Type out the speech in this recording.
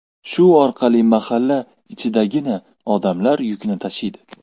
Shu orqali mahalla ichidagina odamlar yukini tashiydi.